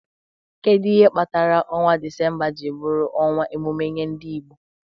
Kedu ihe kpatara ọnwa Disemba ji bụrụ ọnwa emume nye ndị Igbo?